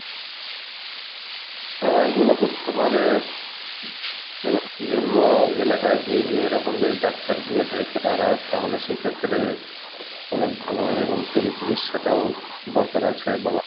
হ্যাঁ এইগুলো করতে হবে এবং বিভিন্ন এলাকায় গিয়ে গিয়ে এরকম যদি ডাক্তার গিয়ে দেখে তারা তাহলে সেইক্ষেত্রে অনেক ভালো হবে এবং free চিকিৎসা টাও দরকার আছে বাংলাদেশের